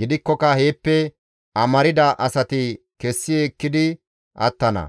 Gidikkoka heeppe amarda asati kessi ekkidi attana;